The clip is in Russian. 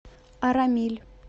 арамиль